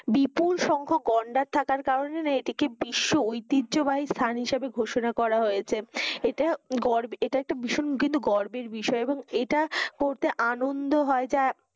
বিপুল সংখ গন্ডার থাকার কারণে না এটি বিশ্ব ঐতিজ্য বাহি স্থান হিসাবে ঘোষণা করা হয়েছে, এটা একটা ভীষণ কিন্তু গর্বের বিষয় এবং ইটা পড়তে আনন্দ হয় যা,